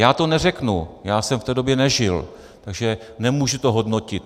Já to neřeknu, já jsem v té době nežil, takže to nemůžu hodnotit.